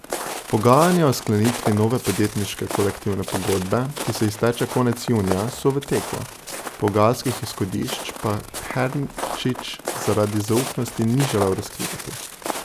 Pogajanja o sklenitvi nove podjetniške kolektivne pogodbe, ki se izteče konec junija, so v teku, pogajalskih izhodišč pa Hernčič zaradi zaupnosti ni želel razkrivati.